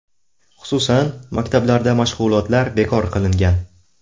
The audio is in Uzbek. Xususan, maktablarda mashg‘ulotlar bekor qilingan.